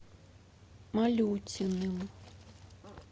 малютиным